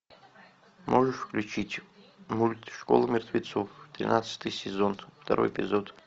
можешь включить мульт школа мертвецов тринадцатый сезон второй эпизод